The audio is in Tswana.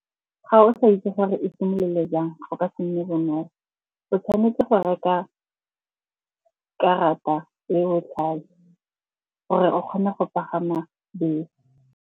Ga o sa itse gore e simolole jang go ka se nne bonolo. O tshwanetse go reka karata e botlhale gore o kgone go pagama bese.